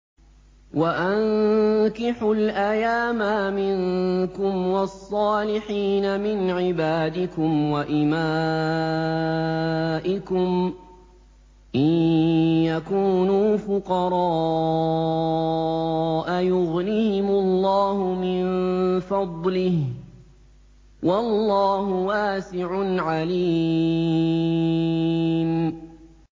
وَأَنكِحُوا الْأَيَامَىٰ مِنكُمْ وَالصَّالِحِينَ مِنْ عِبَادِكُمْ وَإِمَائِكُمْ ۚ إِن يَكُونُوا فُقَرَاءَ يُغْنِهِمُ اللَّهُ مِن فَضْلِهِ ۗ وَاللَّهُ وَاسِعٌ عَلِيمٌ